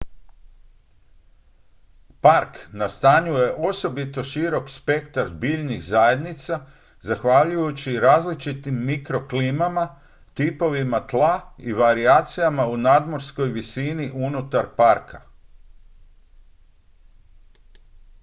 park nastanjuje osobito širok spektar biljnih zajednica zahvaljujući različitim mikroklimama tipovima tla i varijacijama u nadmorskoj visini unutar parka